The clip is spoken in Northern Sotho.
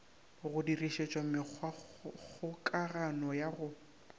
go dirišetšwa mekgwakgokagano ya go